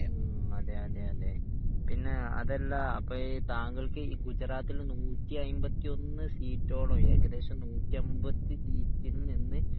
മ്മ്ഹ് അതെയതെ അതെ പിന്നെ അതല്ല അപ്പോ ഈ താങ്കൾക് ഈ ഗുജറാത്തിൽ നൂറ്റി അയ്മ്പത്തിയൊന്ന് സീറ്റോളം ഏകദേശം നൂറ്റി അമ്പത്തി സീറ്റിൽ നിന്ന്